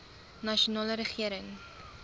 nasionale regering